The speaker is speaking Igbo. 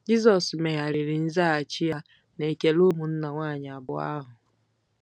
Jizọs megharịrị nzaghachi ya n'ekele ụmụnna nwanyị abụọ ahụ.